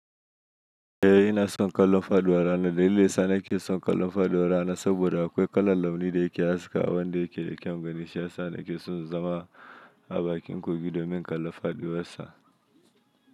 Eh ina son kallon Faduan rana daalilin yasa nake son kallon faduwa rana saboda akwai kalon launi da yake haska, wanda yake da kyau ganin shi, haka nake son zama a bakin kogi domin in kalla Faduwansa.